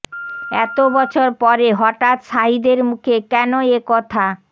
এত বছর পরে হঠাৎ শাহিদের মুখে কেন এ কথা